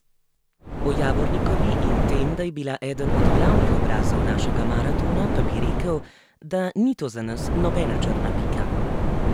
O Javornikovi in tem, da je bila eden od glavnih obrazov našega maratona, pa bi rekel, da ni to za nas nobena črna pika.